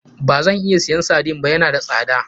Bazan iya siyan sardine ba, ya na da sada.